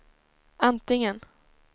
antingen